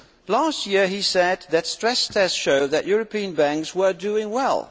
Last year he said that stress tests show that European banks were doing well